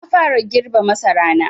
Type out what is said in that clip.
Na fara girbe masarana.